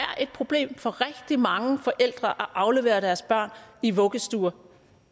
problem for rigtig mange forældre at aflevere deres børn i vuggestuer